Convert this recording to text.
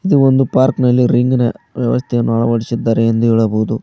ಇದು ಒಂದು ಪಾರ್ಕ್ ನಲ್ಲಿ ರಿಂಗ್ ನ ವ್ಯವಸ್ಥೆಯನ್ನು ಅಳವಡಿಸಿದ್ದಾರೆ ಎಂದು ಹೇಳಬಹುದು.